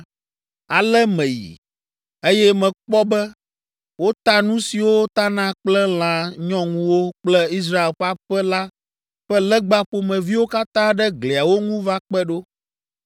Ale meyi, eye mekpɔ be wota nu siwo tana kple lã nyɔŋuwo kple Israel ƒe aƒe la ƒe legba ƒomeviwo katã ɖe gliawo ŋu va kpe ɖo.